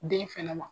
Den fɛnɛ ma